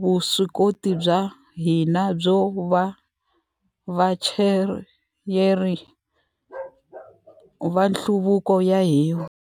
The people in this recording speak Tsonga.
vuswikoti bya hina byo va vachayeri va nhluvuko wa hina.